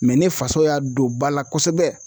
ne faso y'a don ba la kosɛbɛ.